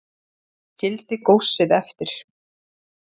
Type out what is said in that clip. Skildi góssið eftir